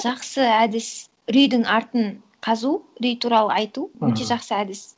жақсы әдіс үрейдің артын қазу үрей туралы айту өте жақсы әдіс